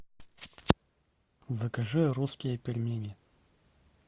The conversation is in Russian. закажи русские пельмени